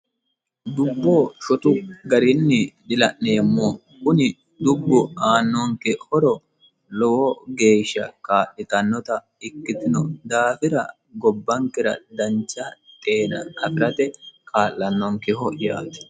dubbo shotu garinni dila'neemmo kuni dubbu aannonke horo lowo geeshsha kaa'litannota ikkitino daafira gobbankera dancha xeena afirate jaa'"lanonkeho yaate